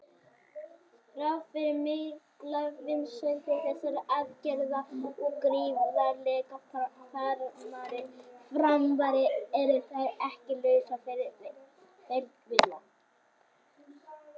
Þrátt fyrir miklar vinsældir þessara aðgerða og gríðarlegar framfarir eru þær ekki lausar við fylgikvilla.